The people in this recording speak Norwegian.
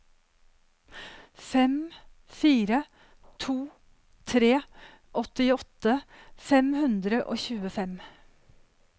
fem fire to tre åttiåtte fem hundre og tjuefem